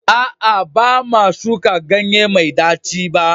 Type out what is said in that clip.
A'a, ba ma shuka ganye mai ɗaci ba.